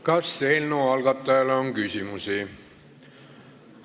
Kas eelnõu algatajale on küsimusi?